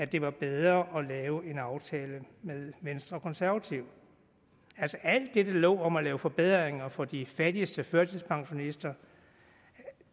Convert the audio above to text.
det var bedre at lave en aftale med venstre og konservative alt det der lå om at lave forbedringer for de fattigste førtidspensionister